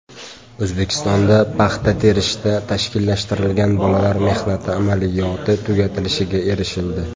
O‘zbekistonda paxta terishda tashkillashtirilgan bolalar mehnati amaliyoti tugatilishiga erishildi.